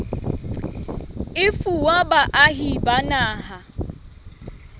e fuwa baahi ba naha